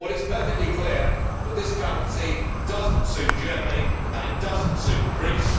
Well, it is perfectly clear that this currency does not suit Germany and it does not suit Greece.